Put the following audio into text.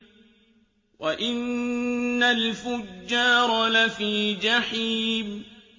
وَإِنَّ الْفُجَّارَ لَفِي جَحِيمٍ